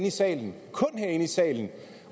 i salen og kun herinde i salen